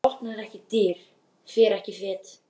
Maður opnar ekki dyr, fer ekki fet.